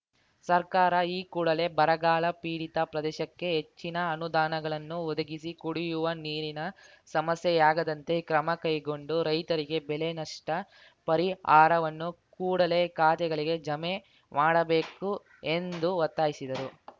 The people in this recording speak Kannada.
ಸರ್ಕಾರ ಈ ಕೂಡಲೆ ಬರಗಾಲ ಪೀಡಿತ ಪ್ರದೇಶಕ್ಕೆ ಹೆಚ್ಚಿನ ಅನುದಾನಗಳನ್ನು ಒದಗಿಸಿ ಕುಡಿಯುವ ನೀರಿನ ಸಮಸ್ಯೆಯಾಗದಂತೆ ಕ್ರಮ ಕೈಗೊಂಡು ರೈತರಿಗೆ ಬೆಳೆ ನಷ್ಟಪರಿಹಾರವನ್ನು ಕೂಡಲೆ ಖಾತೆಗಳಿಗೆ ಜಮೆ ಮಾಡಬೇಕು ಎಂದು ಒತ್ತಾಯಿಸಿದರು